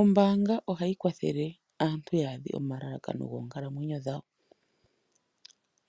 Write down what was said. Ombanga ohavyi kwathele aantu yaadhe omalakano goonkalamwenyo dhawo